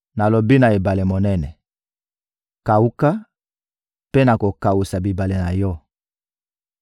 Nalobi na ebale monene: ‹Kawuka, mpe nakokawusa bibale na yo!›